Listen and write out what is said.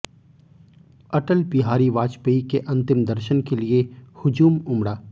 अटल बिहारी वाजपेयी के अंतिम दर्शन के लिए हुजूम उमड़ा